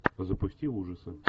запусти ужасы